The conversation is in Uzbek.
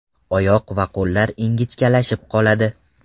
Oyoq va qo‘llar ingichkalashib qoladi.